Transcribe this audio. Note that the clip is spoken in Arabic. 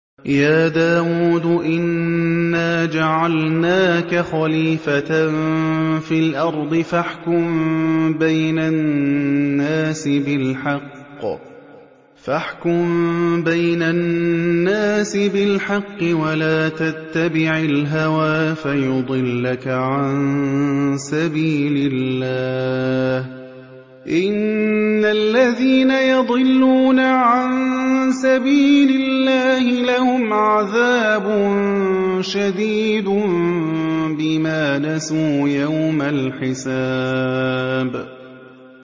يَا دَاوُودُ إِنَّا جَعَلْنَاكَ خَلِيفَةً فِي الْأَرْضِ فَاحْكُم بَيْنَ النَّاسِ بِالْحَقِّ وَلَا تَتَّبِعِ الْهَوَىٰ فَيُضِلَّكَ عَن سَبِيلِ اللَّهِ ۚ إِنَّ الَّذِينَ يَضِلُّونَ عَن سَبِيلِ اللَّهِ لَهُمْ عَذَابٌ شَدِيدٌ بِمَا نَسُوا يَوْمَ الْحِسَابِ